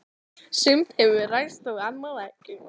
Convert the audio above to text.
Sumt hefur ræst og annað ekki.